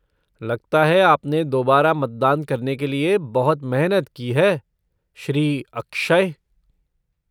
लगता है, आपने दोबारा मतदान करने के लिए बहुत मेहनत की है, श्री अक्षय